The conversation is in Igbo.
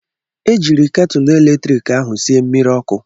Ejiiri ketụlụ eletrik ahụ sie mmiri ọkụ.